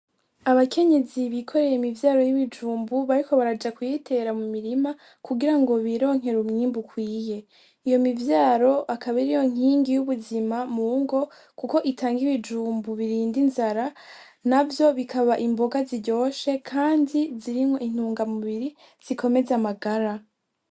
Abakenyezi bikoreye imivyaro y'ibijumbu bariko baraja kuyitera mu murima kugira ngo bironker'umwimbu ukwiye . Iyo mivyaro akaba ariyo nkingi y' ubuzima mu ngo kuko itang 'ibijumbu birind'inzara navyo bikaba imboga ziryoshe kandi zirimwo intungamubiri zikomeza amagara.